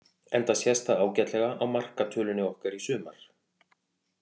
Enda sést það ágætlega á markatölunni okkar í sumar.